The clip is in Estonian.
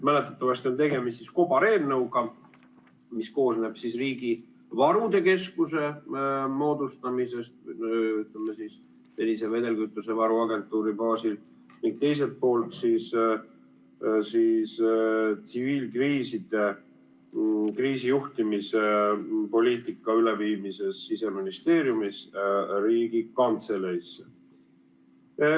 Mäletatavasti on tegemist kobareelnõuga, mis käsitleb riigi varude keskuse moodustamist senise vedelkütusevaru agentuuri baasil, ning teiselt poolt tsiviilkriiside kriisijuhtimispoliitika üleviimist Siseministeeriumist Riigikantseleisse.